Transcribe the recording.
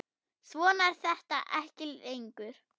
Svona er þetta ekki lengur.